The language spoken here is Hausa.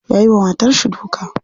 Yayi wa matarshi duka.